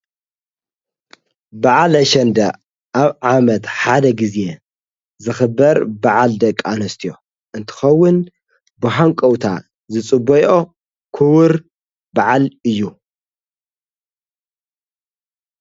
በዓል ኣሸንደ ኣብ ዓመት ሓደ ጊዜ ዝኽበር በዓል ደቃኣንስትዮ እንትኸውን ብሓንቀውታ ዝጽበይኦ ክቡር በዓል እዩ።